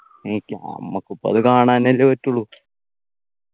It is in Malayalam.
എനിക്കാ നമ്മക്കിപ്പോ അത് കാണാൻ അല്ലെ പറ്റുള്ളൂ